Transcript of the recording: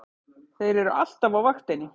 Þeir eru alltaf á vaktinni!